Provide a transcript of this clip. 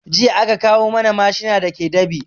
Jiya aka kawo mana mashina da ke dab'i